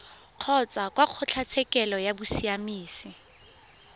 kgotsa kwa kgotlatshekelo ya bosiamisi